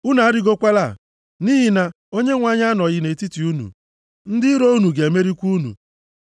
Unu arịgokwala, nʼihi na Onyenwe anyị anọghị nʼetiti unu. Ndị iro unu ga-emerikwa unu.